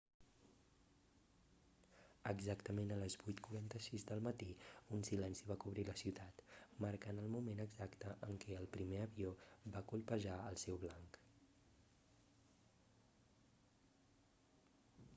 exactament a les 8:46 del matí un silenci va cobrir la ciutat marcant el moment exacte en què el primer avió va colpejar el seu blanc